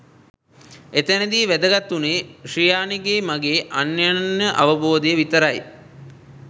එතැනදී වැදගත් වුණේ ශ්‍රියාණිගෙයි මගෙයි අන්‍යොන්‍ය අවබෝධය විතරයි